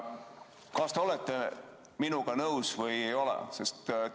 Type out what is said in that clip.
Kas te olete minuga nõus või ei ole?